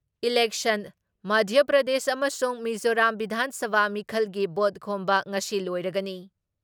ꯏꯂꯦꯟꯁꯟ ꯃꯙ꯭ꯌꯥ ꯄ꯭ꯔꯗꯦꯁ ꯑꯃꯁꯨꯡ ꯃꯤꯖꯣꯔꯥꯝ ꯕꯤꯙꯥꯟ ꯁꯚꯥ ꯃꯤꯈꯜꯒꯤ ꯚꯣꯠ ꯈꯣꯝꯕ ꯉꯁꯤ ꯂꯣꯏꯔꯒꯅꯤ ꯫